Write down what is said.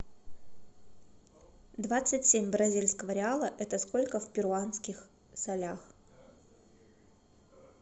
двадцать семь бразильского реала это сколько в перуанских солях